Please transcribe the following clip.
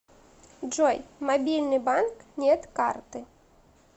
джой мобильный банк нет карты